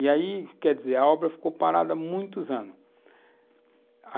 E aí, quer dizer, a obra ficou parada muitos anos.